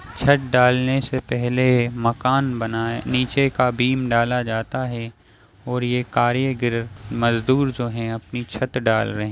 छत डालने से पहने मकान बनाये नीचे का बीम डाला जाता है और ये कारीगर मजदुर जो है अपनी छत डाल रहे हैं।